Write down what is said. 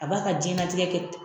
A b'a ka jɛnnatigɛ kɛ